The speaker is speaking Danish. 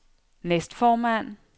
næstformand